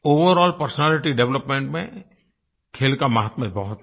overall personality development में खेल का माहात्म्य बहुत है